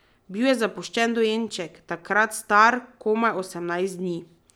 Bil je zapuščen dojenček, takrat star komaj osemnajst dni.